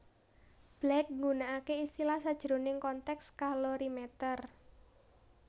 Black nggunakake istilah sajroning konteks kalorimeter